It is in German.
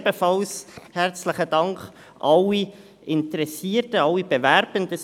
Ebenfalls herzlichen Dank allen Interessierten, allen Bewerbenden: